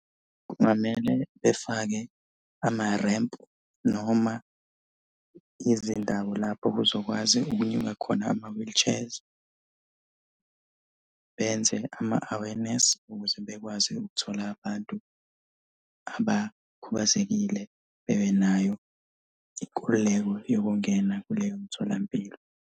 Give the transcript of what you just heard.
Kungamele befake amarempu noma izindawo lapho kuzokwazi ukunyuka khona ama-wheelchairs. Benze ama-awareness ukuze bekwazi ukuthola abantu abakhubazekile bebenayo inkululeko yokungena kuleyo mtholampilo.